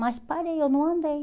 Mas parei, eu não andei.